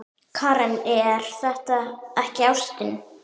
Karen: Er það ekki ástin?